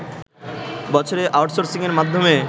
বছরে আউট সোর্সিংয়ের মাধ্যমে